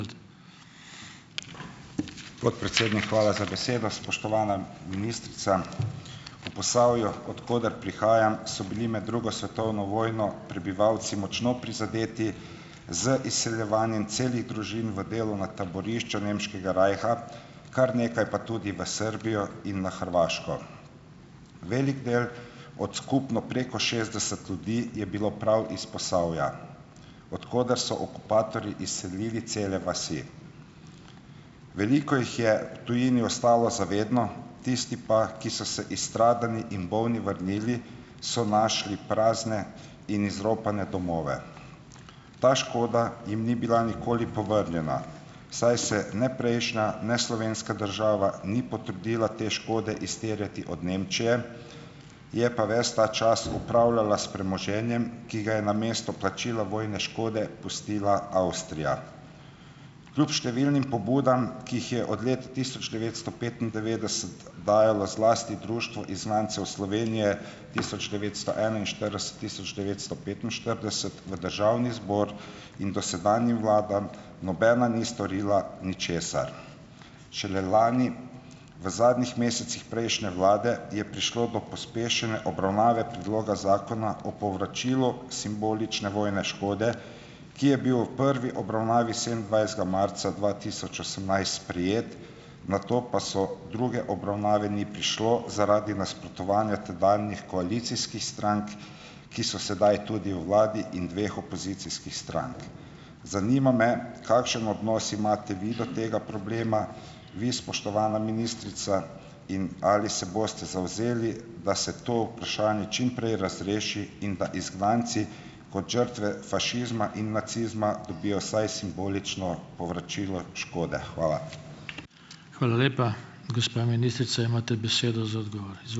Podpredsednik, hvala za besedo. Spoštovana ministrica! V Posavju, od koder prihajam, so bili med drugo svetovno vojno prebivalci močno prizadeti z izseljevanjem celih družin v delovna taborišča nemškega rajha, kar nekaj pa tudi v Srbijo in na Hrvaško. Velik del od skupno preko šestdeset ljudi je bil prav iz Posavja, od koder so okupatorji izselili cele vasi. Veliko jih je v tujini ostalo za vedno, tisti pa, ki pa so se izstradani in bolni vrnili, so našli prazne in izropane domove. Ta škoda jim ni bila nikoli povrnjena, saj se ne prejšnja ne slovenska država ni potrudila te škode izterjati od Nemčije, je pa ves ta čas upravljala s premoženjem, ki ga je namesto plačila vojne škode pustila Avstrija. Kljub številnim pobudam, ki jih je od leta tisoč devetsto petindevetdeset dajalo zlasti Društvo izgnancev Slovenije tisoč devetsto enainštirideset-tisoč devetsto petinštirideset v državni zbor in dosedanjim vladam, nobena ni storila ničesar. Šele lani, v zadnjih mesecih prejšnje vlade, je prišlo do pospešene obravnave predloga zakona o povračilu simbolične vojne škode, ki je bil v prvi obravnavi sedemindvajsetega marca dva tisoč osemnajst sprejet, nato pa so druge obravnave ni prišlo zaradi nasprotovanja tedanjih koalicijskih strank, ki so sedaj tudi v vladi in dveh opozicijskih strank. Zanima me, kakšen odnos imate vi do tega problema, vi, spoštovana ministrica, in ali se boste zavzeli, da se to vprašanje čim prej razreši in da izgnanci, kot žrtve fašizma in nacizma, dobijo vsaj simbolično povračilo škode. Hvala.